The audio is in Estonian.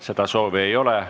Seda soovi ei ole.